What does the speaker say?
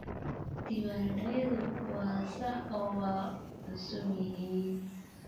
Diiwaanadayadu waa sax oo waa cusub yihiin.